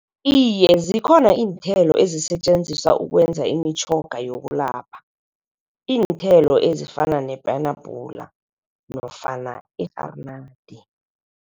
Iye, zikhona iinthelo ezisetjenziswa ukwenza imitjhoga yokulapha. Iinthelo ezifana nepenabhula nofana i-rharinadi.